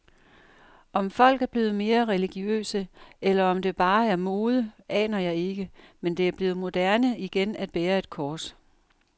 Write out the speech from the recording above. Om folk er blevet mere religiøse, eller om det bare er mode, aner jeg ikke, men det er blevet moderne igen at bære et kors.